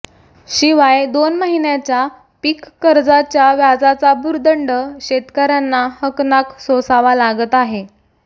शिवाय दोन महिन्याच्या पिक कर्जाच्या व्याजाचा भुर्दंड शेतकर्यांना हकनाक सोसावा लागत आहे